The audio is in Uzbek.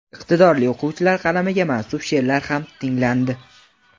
iqtidorli o‘quvchilar qalamiga mansub sheʼrlar ham tinglandi.